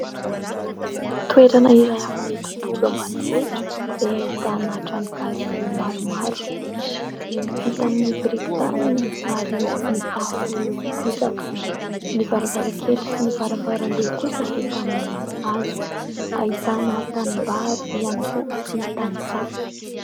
Toerana iray amin'ny tontolo ambanivohitra izay ahitana trano gasy maromaro. Vita amin'ny biriky tany ary mitafo bozaka, ny varavarankely sy ny varavaram-be kosa vita amin'ny hazo ; ahitana tanimbary ihany koa sy tantsaha.